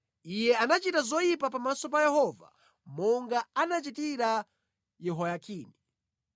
Iye anachita zoyipa pamaso pa Yehova monga anachitira Yehoyakimu.